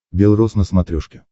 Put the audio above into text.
бел рос на смотрешке